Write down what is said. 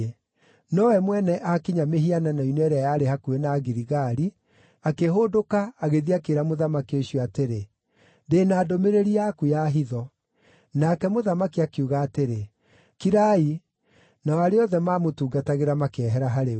Nowe mwene aakinya mĩhianano-inĩ ĩrĩa yarĩ hakuhĩ na Giligali, akĩhũndũka, agĩthiĩ akĩĩra mũthamaki ũcio atĩrĩ, “Ndĩ na ndũmĩrĩri yaku ya hitho.” Nake mũthamaki akiuga atĩrĩ, “Kirai!” Nao arĩa othe maamũtungatagĩra makĩehera harĩ we.